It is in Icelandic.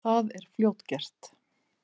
Það er fljótgert.